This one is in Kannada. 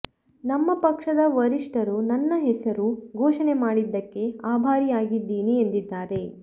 ನಮ್ಮ ಪಕ್ಷದ ವರಿಷ್ಠರು ನನ್ನ ಹೆಸರು ಘೋಷಣೆ ಮಾಡಿದ್ದಕ್ಕೆ ಆಭಾರಿಯಾಗಿದ್ದೀನಿ ಎಂದಿದ್ದಾರೆ